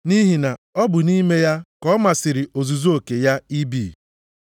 Nʼihi na ọ bụ nʼime ya ka ọ masịrị ozuzu oke ya ibi.